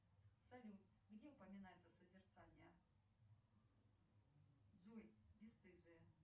салют любимый анекдот